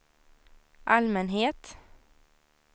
allmänhet